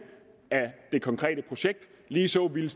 af det konkrete projekt lige så ville